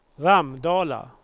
Ramdala